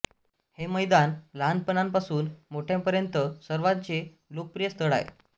हे मैदान लहानांपासून मोठ्यांपर्यंत सर्वांचे लोकप्रिय स्थळ आहे